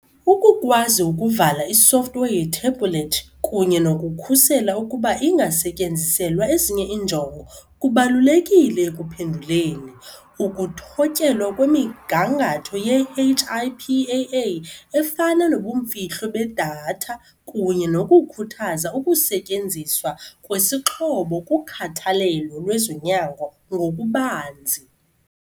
Ukukwazi ukuvala isofthiwe yethebhulethi kunye nokukhusela ukuba ingasetyenziselwa ezinye iinjongo kubalulekile ekuphenduleni, ukuthotyelwa kwemigangatho ye-HIPAA efana nobumfihlo bedatha, kunye nokukhuthaza ukusetyenziswa kwesixhobo kukhathalelo lwezonyango ngokubanzi.